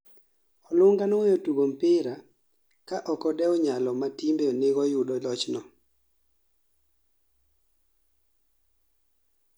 olunga oweyo tugo mpira ka okodeu nyalo ma timbe nigo yudo lochno